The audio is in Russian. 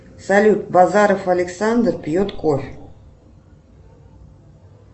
салют базаров александр пьет кофе